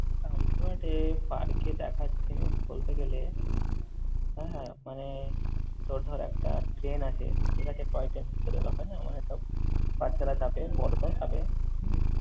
এ park এ দেখার জিনিস বলতে গেলে হ্যাঁ মানে তোর ধর একটা train আছে, এটাকে toy train বলে দেওয়া হয় না মানে সব বাচ্ছারা চাপে বড়দের সাথে।